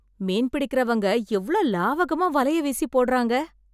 மீன் பிடிக்கறவங்க எவ்ளோ லாகவமாக வலையை வீசி போடறாங்க....